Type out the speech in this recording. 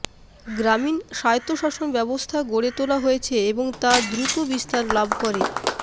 গ্রামীণ স্বায়ত্বশাসন ব্যবস্থা গড়ে তোলা হয়েছে এবং তা দ্রুত বিস্তার লাভ করে